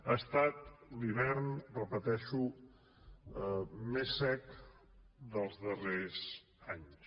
ha estat l’hivern repeteixo més sec dels darrers anys